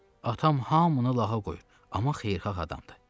Atam hamını lağa qoyur, amma xeyirxah adamdır.